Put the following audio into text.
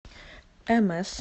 мс